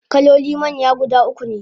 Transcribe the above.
kaloli manya guda ukune